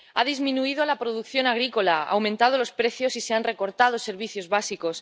Ha disminuido la producción agrícola, han aumentado los precios y se han recortado servicios básicos.